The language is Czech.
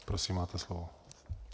Prosím, máte slovo.